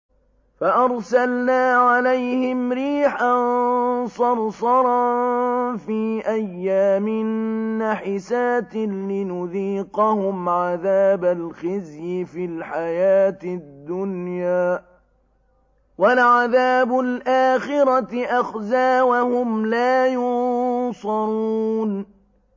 فَأَرْسَلْنَا عَلَيْهِمْ رِيحًا صَرْصَرًا فِي أَيَّامٍ نَّحِسَاتٍ لِّنُذِيقَهُمْ عَذَابَ الْخِزْيِ فِي الْحَيَاةِ الدُّنْيَا ۖ وَلَعَذَابُ الْآخِرَةِ أَخْزَىٰ ۖ وَهُمْ لَا يُنصَرُونَ